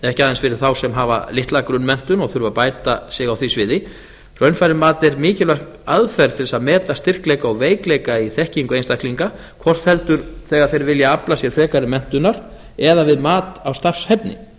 ekki aðeins fyrir þá sem hafa litla grunnmenntun og þurfa að bæta sig á því sviði raunfærnimat er mikilvæg aðferð til að meta styrkleika og veikleika í þekkingu einstaklinga hvort heldur þegar þeir vilja afla sér frekari menntunar eða við mat á starfshæfni